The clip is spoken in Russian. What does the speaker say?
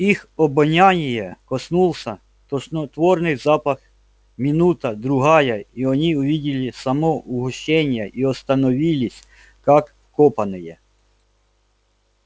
их обоняния коснулся тошнотворный запах минута другая и они увидели само угощение и остановились как вкопанные